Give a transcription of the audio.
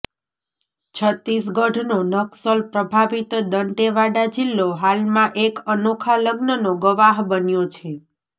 છત્તીસગઢ નો નક્સલ પ્રભાવિત દંતેવાડા જીલ્લો હાલમાં એક અનોખા લગ્નનો ગવાહ બન્યો છે